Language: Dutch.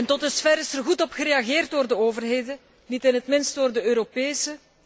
Tot dusverre is er goed op gereageerd door de overheden, niet in het minst door de Europese.